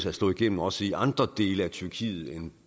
at slå igennem også i andre dele af tyrkiet end